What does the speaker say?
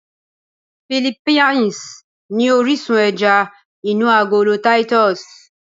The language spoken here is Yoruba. Philippines ni orísun ẹja inú agolo Titus